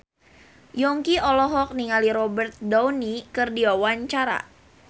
Yongki olohok ningali Robert Downey keur diwawancara